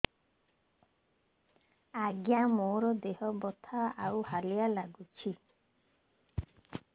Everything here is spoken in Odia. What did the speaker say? ଆଜ୍ଞା ମୋର ଦେହ ବଥା ଆଉ ହାଲିଆ ଲାଗୁଚି